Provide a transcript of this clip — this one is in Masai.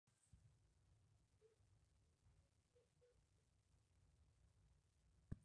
tenepeji illkiek tenebo imbirai nabayie ilkiek neitayu ilgaasi torrok neyau moyiaritin